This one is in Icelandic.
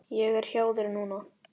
Ég er hjá þér núna.